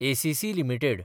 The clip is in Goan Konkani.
ACC limited